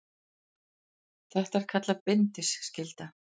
Þetta er kallað bindiskylda.